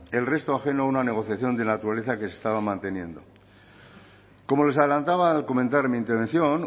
el resto ajeno a una negociación de la naturaleza que se estaba manteniendo como les adelantaba al comenzar mi intervención